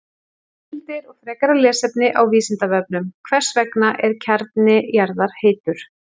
Heimildir og frekara lesefni á Vísindavefnum: Hvers vegna er kjarni jarðar heitur?